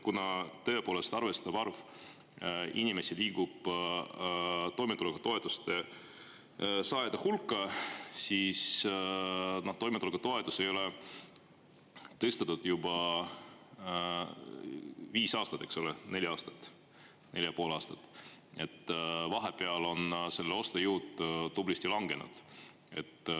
Kuna tõepoolest arvestatav arv inimesi liigub toimetuleku toetuse saajate hulka, siis toimetuleku toetust ei ole tõstetud juba viis aastat, eks ole, neli aastat, neli ja pool aastat, vahepeal on selle ostujõud tublisti langenud.